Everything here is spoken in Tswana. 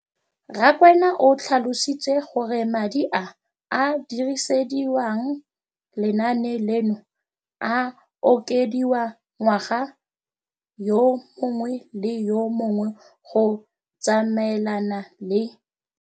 Rakwena o tlhalositse gore madi a a dirisediwang lenaane leno a okediwa ngwaga yo mongwe le yo mongwe go tsamaelana le.